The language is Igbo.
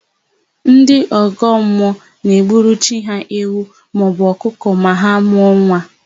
Ndị ọgọmmụọ na-egburu chi ha ewu maọbụ ọkụkọ ma ha mụọ nwa.